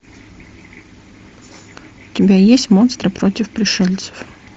у тебя есть монстры против пришельцев